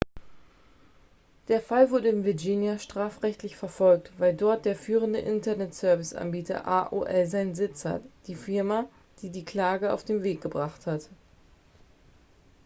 der fall wurde in virginia strafrechtlich verfolgt weil dort der führende internetserviceanbieter aol seinen sitz hat die firma die die klage auf den weg gebracht hat